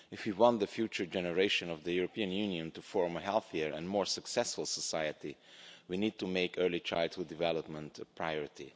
If we want the future generation of the European Union to form a healthier and more successful society we need to make early childhood development a priority.